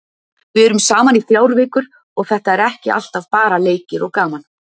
Við erum saman í þrjár vikur og þetta er ekki alltaf bara leikir og gaman.